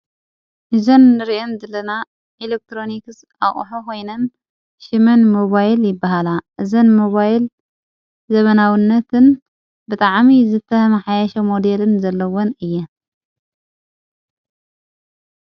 እዘን ርእን ዝለና ኤለክትሮኒክስ ኣቕሕ ኾይንን ሽመን ሞባይል ይበሃላ እዘን ሞባይል ዘበናውነትን ብጥዓሚ ዝተህመ ሓያሸ ሞዴልን ዘለዉን እየን።